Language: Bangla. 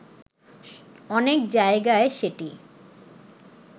অনেক জায়গায় সেটি